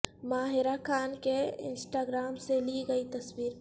ماہرہ خان کے Instagram سے لی گئی تصویر